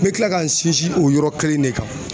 N bɛ kila ka n sinsin o yɔrɔ kelen in ne kan.